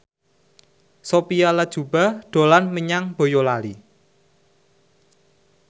Sophia Latjuba dolan menyang Boyolali